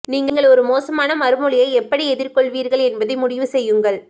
நீங்கள் ஒரு மோசமான மறுமொழியை எப்படி எதிர் கொள்வீர்கள் என்பதை முடிவு செய்யுங்கள்